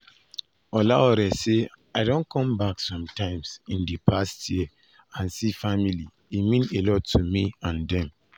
olaore say "i don come back some times in di past year and see family e mean a lot to me and dem."